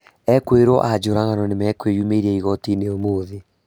Ekũĩrwo a njũragano nĩmekwĩyumĩria igoti-inĩ ũmũthĩ